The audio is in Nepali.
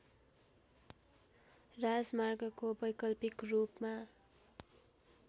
राजमार्गको वैकल्पिक रूपमा